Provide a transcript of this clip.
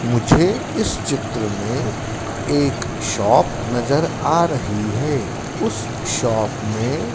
मुझे इस चित्र में एक शॉप नजर आ रही है उस शॉप में--